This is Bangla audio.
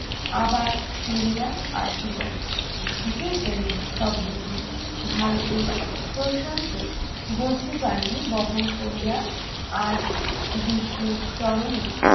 আবার ফিরিয়া আসিব, যে প্রেম শব্দটি ভারতের প্রশান্ত গভীর বাণী বহন করিয়া আজ বিশ্বের ত্বরণে